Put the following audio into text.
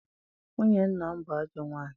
Nwunye nna m bụ ajọ nwaanyị.